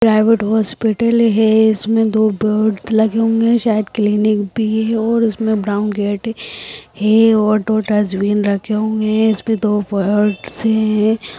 Private hospital है इसमें दो बेड लगे होंगे शायद क्लिनिक भी है इसमें ब्राउन गेट है और दो डस्टबिन रखे हुए है इस पे दो फर्श है।